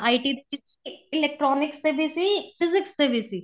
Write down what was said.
IT ਵਿੱਚ electronics ਦੇ ਵੀ ਸੀ physics ਦੇ ਵੀ ਸੀ